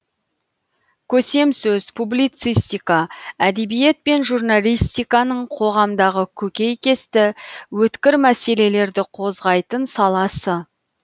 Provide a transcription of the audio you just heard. көсемсөз публицистика әдебиет пен журналистиканың қоғамдағы көкейкесті өткір мәселелерді қозғайтын саласы